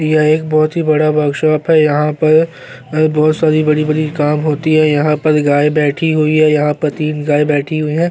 ये एक बहुत ही बड़ा वर्कशॉप है यहाँ पर बहुत सारी बड़ी-बड़ी काम होती है यहाँ गाय बैठी हुई है यहाँ पर तीन गाय हुई बैठी है।